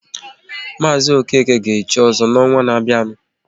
Mazi Okeke ga echi ozo n'ọnwa ná-bịanụ